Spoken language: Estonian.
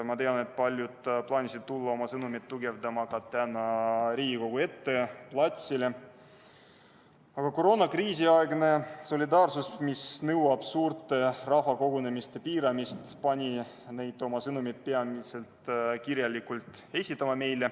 Ma tean, et paljud plaanisid tulla täna oma sõnumit tugevdama Riigikogu ette platsile, aga koroonakriisiaegne solidaarsus eeldab suurte rahvakogunemiste piiramist ja see pani neid oma sõnumit meile peamiselt kirjalikult esitama.